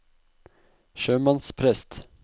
sjømannsprest